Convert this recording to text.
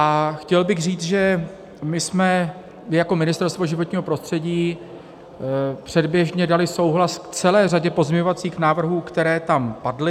A chtěl bych říct, že my jsme i jako Ministerstvo životního prostředí předběžně dali souhlas k celé řadě pozměňovacích návrhů, které tam padly.